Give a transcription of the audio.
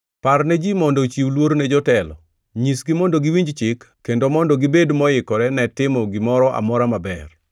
Par ne ji mondo ochiw luor ne jotelo. Nyisgi mondo giwinj chik kendo mondo gibed moikore ne timo gimoro amora maber,